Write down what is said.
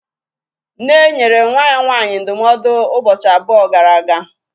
Nne nyere nwa ya nwaanyị ndụmọdụ ụbọchị abụọ gara aga